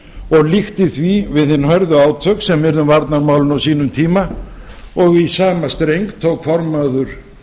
og líkti því við hin hörðu átök sem urðu um varnarmálin á sínum tíma og í sama streng tók formaður